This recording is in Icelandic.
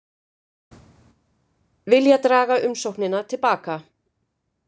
Vilja draga umsóknina til baka